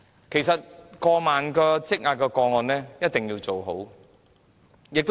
其實，過萬宗積壓個案一定要處理妥當。